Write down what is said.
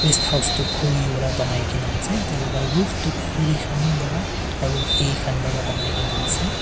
rest house tu khori pra banai ke na ase tai laga roof tu khori khan para aru hay khan para banai ke na ase.